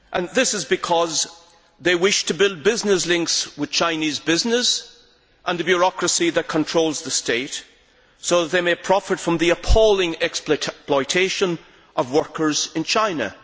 This is because they wish to build business links with Chinese business and the bureaucracy that controls the state so that they may profit from the appalling exploitation of workers in China.